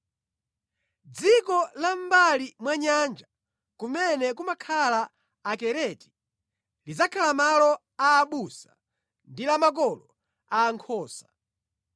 Dziko la mʼmbali mwa nyanja, kumene kumakhala Akereti, lidzakhala malo a abusa ndi la makola a nkhosa.